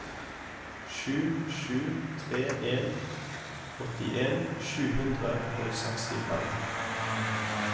sju sju tre en åttien sju hundre og sekstifem